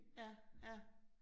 Ja ja